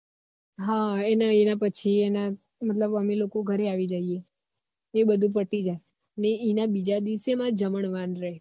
હ એના પછી એના અમે લોકો ઘર આવી જઈએ એ બધું પતી જાયે ને એના બીજા દિવેસ અમારે જમણવાર રે